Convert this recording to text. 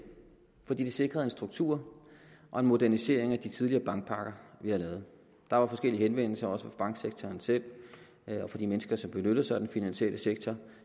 fordi det sikrede en struktur og en modernisering af de tidligere bankpakker vi havde lavet der var forskellige henvendelser også fra banksektoren selv og fra de mennesker som benytter sig af den finansielle sektor